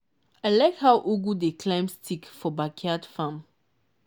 i like how ugu dey climb stick for backyard farm.